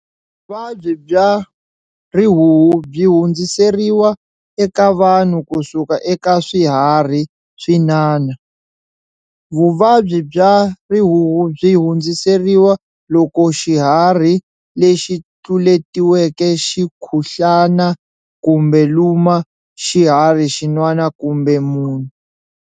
Vuvabyi bya rihuhu byi hundziseriwa eka vanhu kusuka eka swiharhi swin'wana. Vuvabyi bya rihuhu byi hundziseriwa loko xihari lexi tluletiweke xi khuhlana kumbe luma xihari xin'wana kumbe munhu.